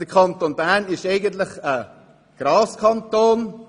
Der Kanton Bern ist eigentlich ein Graskanton.